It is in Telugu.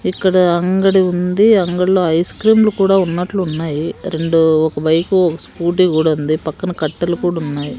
ఇక్కడ అంగడి ఉంది అంగడిలో ఐస్ క్రీము లు కుడా ఉన్నట్లు ఉన్నాయి రెండు ఒక వైపు స్కూటీ కూడా ఉంది పక్కన కట్టెలు కూడా ఉన్నాయ్.